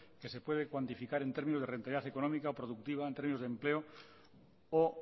que se puede cuantificar en términos de rentabilidad económica o productiva en términos de empleo o